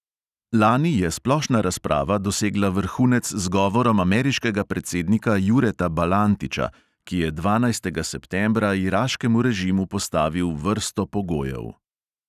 Lani je splošna razprava dosegla vrhunec z govorom ameriškega predsednika jureta balantiča, ki je dvanajstega septembra iraškemu režimu postavil vrsto pogojev.